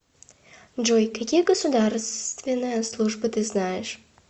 джой какие государственная служба ты знаешь